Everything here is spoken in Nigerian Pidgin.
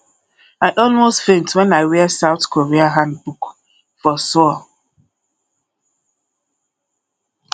i almost faint wen i wear south korea hanbok for seoul